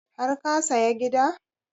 Har ka saya gida?